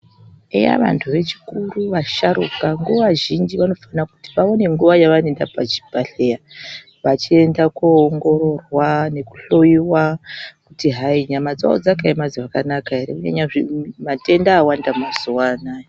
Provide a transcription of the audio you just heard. Eya vantu vakuru vechisharuka nguwa zhinji ,vanofanire kuti vaone nguwa yavanoenda pachibhedhlera vachienda kunoongororwa nekuhloiwa kutihai nyama dzawo dzakaema zvakanaka ere kunyanya matenda awanda mazuwanaya.